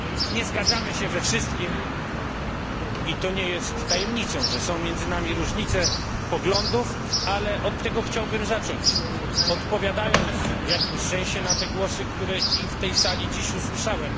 Nie zgadzamy się we wszystkim i to nie jest tajemnicą, że są między nami różnice poglądów, ale od tego chciałbym zacząć, odpowiadając w jakimś sensie na te głosy, które i w tej sali dziś usłyszałem.